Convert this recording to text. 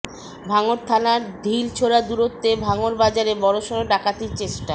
ভাঙড় থানার ঢিল ছোড়া দূরত্বে ভাঙড় বাজারে বড়সড় ডাকাতির চেষ্টা